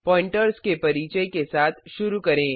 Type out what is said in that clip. pointers के परिचय के साथ शुरू करें